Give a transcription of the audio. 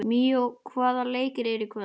Míó, hvaða leikir eru í kvöld?